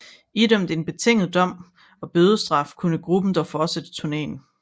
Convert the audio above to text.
Idømt en betinget dom og bødestraf kunne gruppen dog fortsætte turnéen